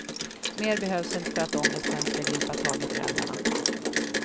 Mer behövs inte för att ångesten ska gripa tag i föräldrarna.